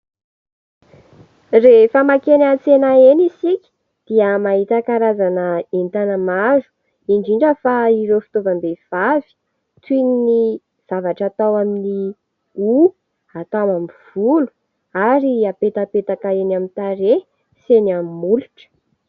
Rehefa mankeny antsena eny isika dia mahita karazana entana maro indrindra fa ireo fitovam-behivavy toy ny zavatra atao amin'ny ho, atao amin'ny volo ary hapetapetaka eny amin'ny tare sy eny amin'ny molotra.